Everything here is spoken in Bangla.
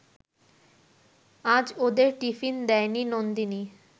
আজ ওদের টিফিন দেয়নি নন্দিনী